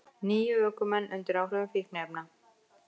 Níu ökumenn undir áhrifum fíkniefna